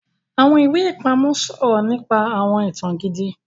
Awọn iwe-ipamọ sọrọ nípa awọn ìtàn gidi